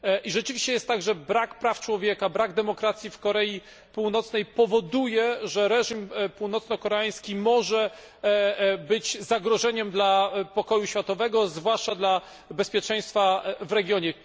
Rzeczywiście jest tak, że brak praw człowieka, brak demokracji w Korei Północnej powoduje, iż reżim północnokoreański może być zagrożeniem dla pokoju na świecie, a zwłaszcza dla bezpieczeństwa w regionie.